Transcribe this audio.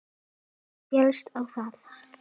Hann féllst á það.